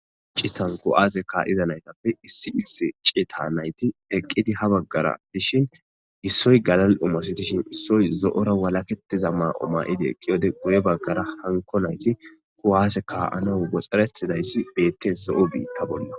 Cku7aaze ka iza naytappe issi issi cieta nayti eqqidi ha baggara dishin gissoy galal umasi dishin issoy zo7ora walaketiza maao ma7idi eqqiyode guye baggara hanko nayti kuwase ka7ano goxxarettidayssi beettes zo7o biitta bolla